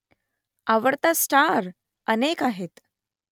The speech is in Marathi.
आवडता स्टार ? अनेक आहेत